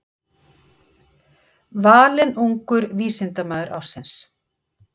Valinn ungur vísindamaður ársins